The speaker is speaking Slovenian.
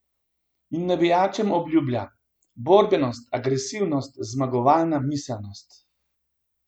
In navijačem obljublja: "Borbenost, agresivnost, zmagovalno miselnost.